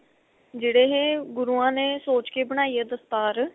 ਜਿਹੜੇ ਇਹ ਗੁਰੂਆ ਨੇ ਸੋਚ ਕੇ ਬਣਾਈ ਏ ਦਸਤਾਰ